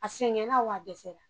A sɛngɛla wa dɛsɛ la.